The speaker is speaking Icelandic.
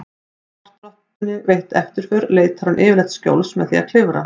Sé svartrottunni veitt eftirför leitar hún yfirleitt skjóls með því að klifra.